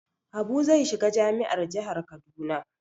Habu zai shiga jami'ar jihar Kaduna.